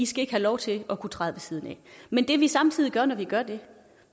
skal ikke have lov til at kunne træde ved siden af men det vi samtidig gør når vi gør det